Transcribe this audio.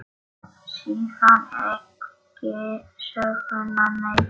Síðan ekki söguna meir.